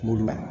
Kungolo la